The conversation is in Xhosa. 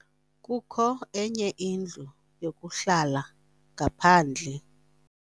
Kukho enye indlu yokuhlala ngaphandle.